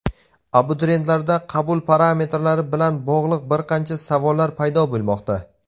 abituriyentlarda qabul parametrlari bilan bog‘liq bir qancha savollar paydo bo‘lmoqda.